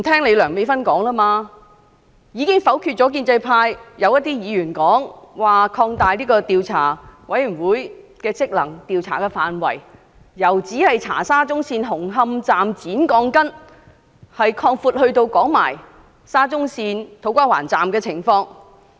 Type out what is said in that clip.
它已否決一些建制派議員的建議，拒絕擴大調查委員會的職能，將調查範圍由只調查沙中線紅磡站剪鋼筋的事件擴闊至土瓜灣站的情況。